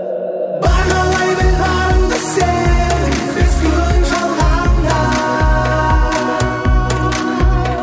бағалай біл барыңды сен бес күн жалғанда